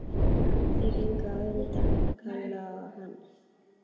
Þau gengu á undan, Kolla og hann.